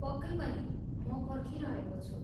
पक्कै पनि। म पर्खिरहेको छु।